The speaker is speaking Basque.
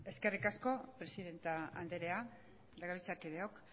eskerrik asko presidente andrea legebiltzarkideok